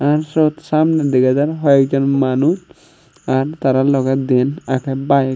ar syot samney dega jar hoi ek jon manuj ar tara logey diyen agey bike.